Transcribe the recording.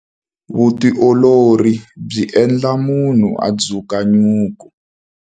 Vutiolori byi endla munhu a dzuka nyuku.